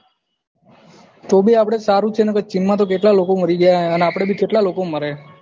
તો ભી આપડે સારું છે નક ચીનમાં તો કેટલા લોકો મરી ગયા અને આપડે ભી કેટલા લોકો મરે હે